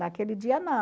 Naquele dia,